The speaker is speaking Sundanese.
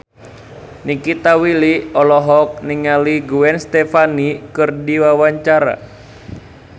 Nikita Willy olohok ningali Gwen Stefani keur diwawancara